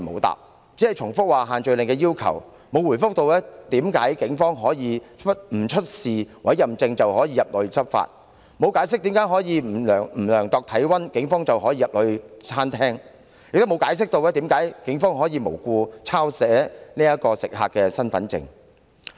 它只重複限聚令的要求，並無回覆為何警方可以不出示委任證便入內執法，沒有解釋為何警方可以不量度體溫便進入餐廳，亦沒有交代為何警方可無故抄寫食客的身份證資料。